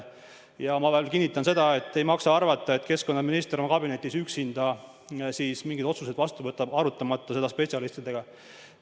Ma veel kord kinnitan, et ei maksa arvata, et keskkonnaminister võtab oma kabinetis üksinda mingeid otsuseid vastu ega aruta asju spetsialistidega.